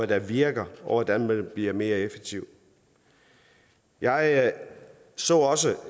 der virker og hvordan man blive mere effektiv jeg så også